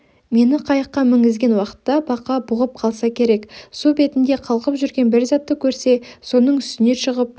мені қайыққа мінгізген уақытта бақа бұғып қалса керек су бетінде қалқып жүрген бір затты көрсе соның үстіне шығып